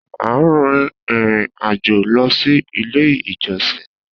A n rin irin ajo lọ si ile ijọsin